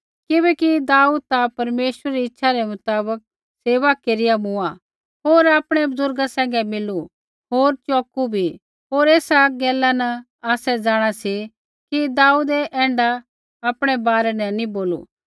किबैकि दाऊद ता परमेश्वरै री इच्छै रै मुताबक सेवा केरिआ मूँआ होर आपणै बुज़ुर्गा सैंघै मिलू होर चौकू भी होर ऐसा गैला न आसै जाँणा सी कि दाऊदै ऐण्ढा आपणै बारै न नी बोलू